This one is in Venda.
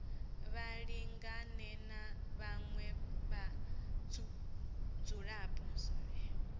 vha lingane na vhaṅwe vhadzulapo